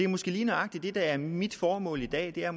måske lige nøjagtig er mit formål i dag er